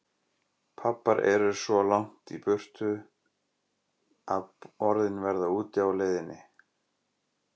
Pabbar eru svo langt í burtu að orðin verða úti á leiðinni.